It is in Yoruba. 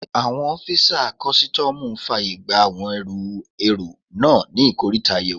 Àwọn ọ́fisà kọ́sítọ́mù fàyè gba àwọn ẹrù èrò náà ní ikoríta àyẹ̀wò